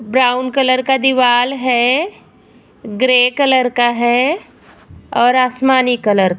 brown colour का दीवाल है ग्रे कलर का है और आसमानी कलर --